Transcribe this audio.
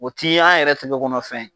O ti an tigɛkɔnɔf ye.